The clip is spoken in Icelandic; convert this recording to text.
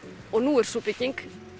og nú er sú bygging